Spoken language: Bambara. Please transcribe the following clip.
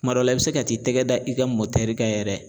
Kuma dɔ la i bɛ se ka t'i tɛgɛ da i ka mɔtɛri kan yɛrɛ